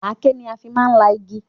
Aké ni a fi máa ń la igi